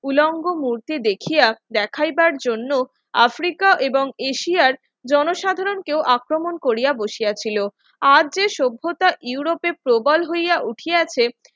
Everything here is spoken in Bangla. উলঙ্গ মধ্যে দেখিয়া দেখাইবার জন্য আফ্রিকা এবং এশিয়ার জনসাধারণ কেউ আক্রমণ করিয়া বসিয়াছিল আর যে সভ্যতা ইউরোপে প্রবাল হইয়া উঠিয়াছে